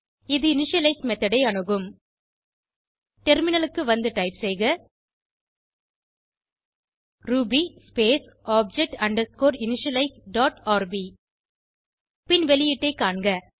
இது initialize method ஐ அணுகும் டெர்மினலுக்கு வந்து டைப் செய்க ruby space object underscore initialize dot RB பின் வெளியீட்டை காண்க